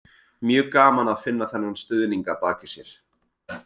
Mjög gaman að finna þennan stuðning að baki sér.